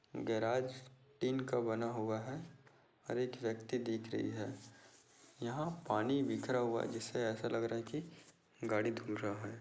Garage tin का बना हुआ है और एक व्यक्ति दिख रही है यहाँ पानी बिखरा हुआ है जिससे ऐसा लग रहा है की गाड़ी धूल रहा है।